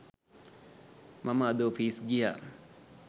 මම අද ඔෆිස් ගියා.